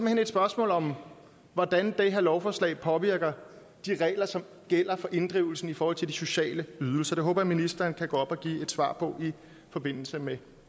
hen et spørgsmål om hvordan det her lovforslag påvirker de regler som gælder for inddrivelsen i forhold til de sociale ydelser det håber jeg ministeren kan gå op og give svar på i forbindelse med